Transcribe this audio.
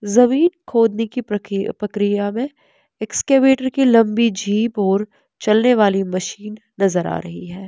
जमीन खोदने की पकी प्रक्रिया में एक्सकैवेटर की लम्बी झीप और चलने वाली मशीन नजर आ रही है।